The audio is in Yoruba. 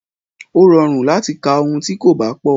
Ó rọrùn láti ka ohun tí kò bá pọ̀.